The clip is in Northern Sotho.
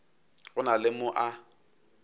go na le mo a